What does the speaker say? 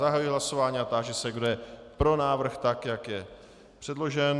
Zahajuji hlasování a táži se, kdo je pro návrh tak, jak je předložen.